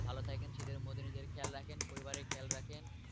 ভালো থাকেন শীতের মধ্যে নিজের খেয়াল রাখেন পরিবারের খেয়াল রাখেন।